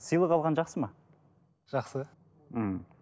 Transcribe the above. сыйлық алған жақсы ма жақсы ммм